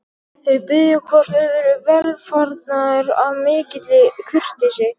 Þau biðja hvort öðru velfarnaðar af mikilli kurteisi.